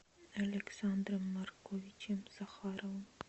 александром марковичем захаровым